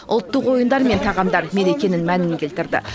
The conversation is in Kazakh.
ұлттық ойындар мен тағамдар мерекенің мәнін келтірді